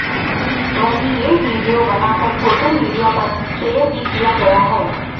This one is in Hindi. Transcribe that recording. वहीं ये वीडियो बना कर सोशल मीडिया पर शेयर भी किया गया है